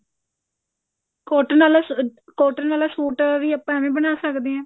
cotton ਵਾਲਾ suit cotton ਵਾਲਾ suit ਵੀ ਆਪਾਂ ਏਵੇਂ ਬਣਾ ਸਕਦੇ ਹੈ